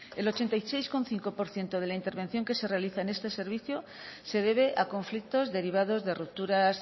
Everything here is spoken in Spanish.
el ochenta y seis coma cinco por ciento de la intervención que se realiza en este servicio se debe a conflictos derivados de rupturas